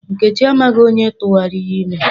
Nkechi amaghị onye tụwara ya ime.